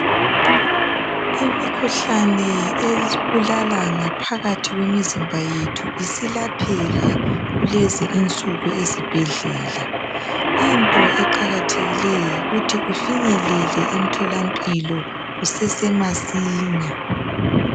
Imikhuhlane esibulala phakathi kwemizimba yethu isilapheka kukezi insuku ezibhedlela. Into eqakathekileyo yikuthi ufinyelele emtholampilo kusese masinya.